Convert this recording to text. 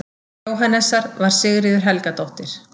Jóhannesar, var Sigríður Helgadóttir.